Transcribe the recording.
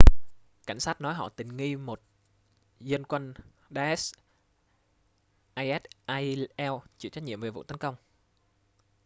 cảnh sát nói họ tình nghi một dân quân daesh isil chịu trách nhiệm về vụ tấn công